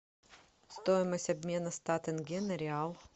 стоимость обмена ста тенге на реал